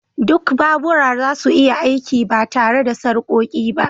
Duk babura ba za su iya aiki ba tare da sarƙoƙi ba